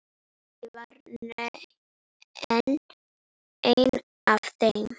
Ég var ein af þeim.